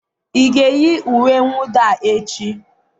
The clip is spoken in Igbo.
ị ga-eyi uwe mwụda a echi?